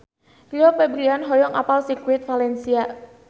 Rio Febrian hoyong apal Sirkuit Valencia